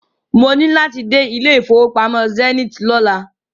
Mo ní láti dé ilé ìfowópamọ́ Zenith lọ́la.